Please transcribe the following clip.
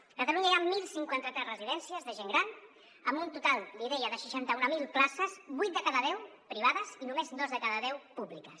a catalunya hi ha deu cinquanta tres residències de gent gran amb un total l’hi deia de seixanta mil places vuit de cada deu privades i només dos de cada deu públiques